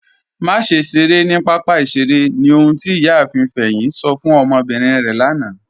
Màṣẹ ṣeré ni papa ìṣẹ̀rè ni ọ̀hun tí Iyààfin Feyin sọ̀ fún ọmọbírín rẹ lànà.